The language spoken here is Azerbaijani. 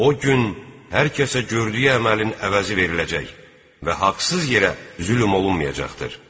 O gün hər kəsə gördüyü əməlin əvəzi veriləcək və haqsız yerə zülm olunmayacaqdır.